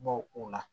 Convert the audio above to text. Bɔ o la